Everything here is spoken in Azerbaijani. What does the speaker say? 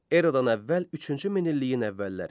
Eradan əvvəl üçüncü minilliyin əvvəlləri.